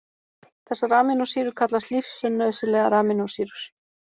Þessar amínósýrur kallast lífsnauðsynlegar amínósýrur.